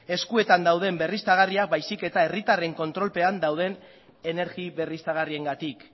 eskuetan dauden berriztagarriak baizik eta herritarren kontrolpean dauden energia berriztagarriengatik